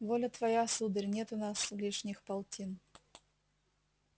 воля твоя сударь нет у нас лишних полтин